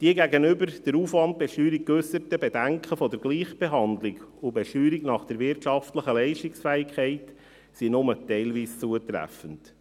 Die gegenüber der Aufwandbesteuerung geäusserten Bedenken der Gleichbehandlung und Besteuerung nach der wirtschaftlichen Leistungsfähigkeit sind nur teilweise zutreffend.